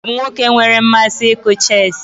Joe bụ nwoke na-amasị ịkụ chess.